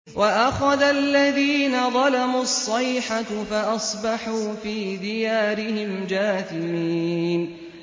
وَأَخَذَ الَّذِينَ ظَلَمُوا الصَّيْحَةُ فَأَصْبَحُوا فِي دِيَارِهِمْ جَاثِمِينَ